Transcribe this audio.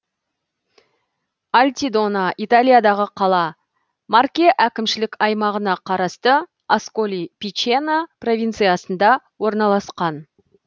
альтидона италиядағы қала марке әкімшілік аймағына қарасты асколи пичено провинциясында орналасқан